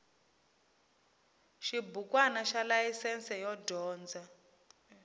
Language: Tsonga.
xibukwana xa layisense yo dyondza